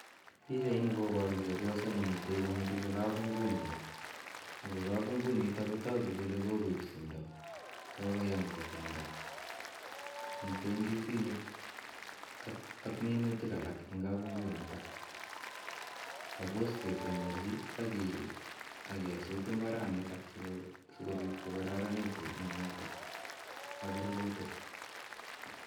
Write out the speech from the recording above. Pichaini koparu chepyoso ne mitej komiriri kapungunyi. Ako kapungunit ko tagu kole kokoip timdo, kokoyam kesember. Mitei ndisinik ak minutik alak eng' kapungunitok. Suppose kesemberchi ak kesut mbranitak asikopit ko kararanitu minutik ak rurutik.